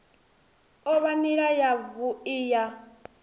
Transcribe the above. o vha nila yavhui ya